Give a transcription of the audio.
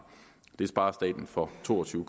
det sparer staten for to og tyve